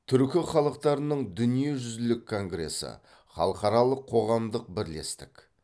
түркі халықтарының дүниежүзілік конгрессы халықаралық қоғамдық бірлестік